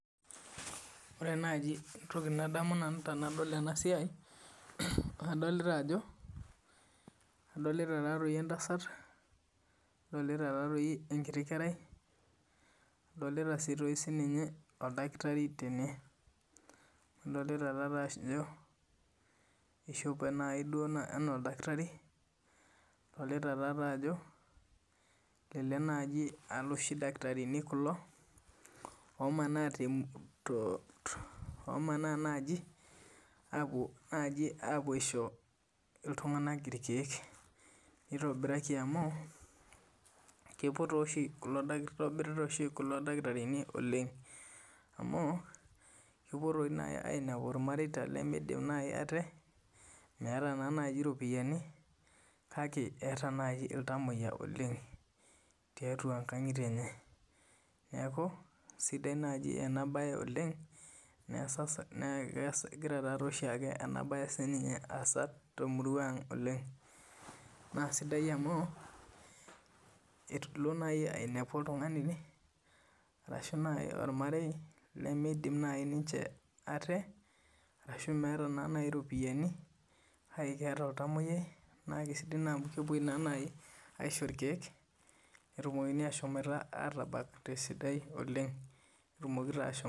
Ore naaji entoki nadamu tenadol ena siai kadolita entasati nadolita enkiti kerai nadolita sii oldakitarii tene adolita Ajo eshope ena oldakitarii adolita Ajo elelek aa eloshi dakitarini kulo omanaa naaji apuo aishoo iltung'ana irkeek kitobirita oshi kulo dakitarini oleng amu kepuo naaji ainepu irmaireta limidim ate meeta naaji eropiani make etaa naaji ilntamuoyia oleng tiatua nkang'itie enye neeku sidai naaji ena mbae oleng naa egira taadoi oshiake ena mbae asaatemurua ang oleng naa sidai amu elo naaji ainepu oltung'ani enaa ormarei limidim naaji aate ashu meeta naaji ropiani kake etaa olntamuoyiai naa sidai amu kepuoi naa naaji aishoo irkeek natumoki ashom atabak tesidai oleng